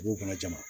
Dugu kɔnɔ jama